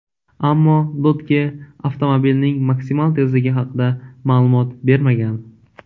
Ammo Dodge avtomobilning maksimal tezligi haqida ma’lumot bermagan.